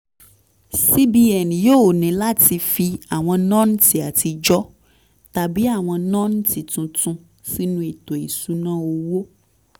cs] cbn yóò ní láti fi àwọn nọ́ǹtì àtijọ́ tàbí àwọn nọ́ǹtì tuntun sínú ètò ìṣúnná owó